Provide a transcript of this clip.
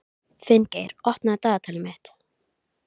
Hún kom út eftir örskamma stund.